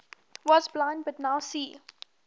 was blind but now see